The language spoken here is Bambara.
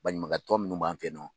Baɲumankɛ minnu b'an fe yen